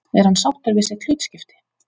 Er hann sáttur við sitt hlutskipti?